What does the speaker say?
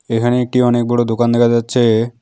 এখানে একটি অনেক বড়ো দোকান দেখা যাচ্ছে।